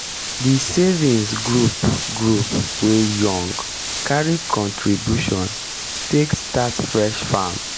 di savings group group wey young carry contribution take start fish farm.